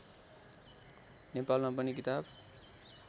नेपालमा पनि किताब